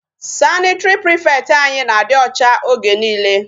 Sanitary prefect anyị na-adị ọcha oge niile.